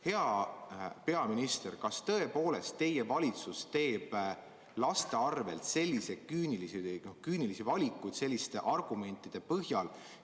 Hea peaminister, kas tõepoolest teie valitsus teeb laste arvel selliseid küünilisi valikuid selliste argumentide põhjal?